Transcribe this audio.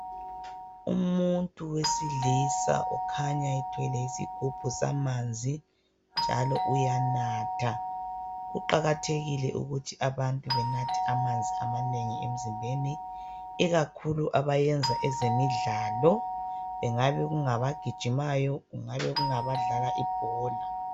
Umuntu wesilisa okhanya ethwele isigubhu samanzi njalo uyanatha . Kuqakathekile ukuthi abantu benathe amanzi amanengi emzimbeni ikakhulu abayenza ezemidlalo kungabe kungabagijimayo kungabe kungabadlala ibhola .